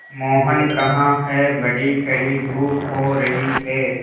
मोहन कहाँ हैं बड़ी कड़ी धूप हो रही है